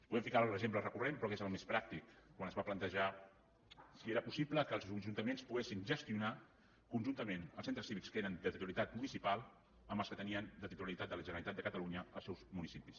podem ficar l’exemple recurrent però que és el més pràctic quan es va plantejar si era possible que els ajuntaments poguessin gestionar conjuntament els centres cívics que eren de titularitat municipal amb els que tenien de titularitat de la generalitat de catalunya als seus municipis